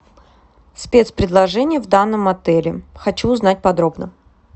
спец предложения в данном отеле хочу узнать подробно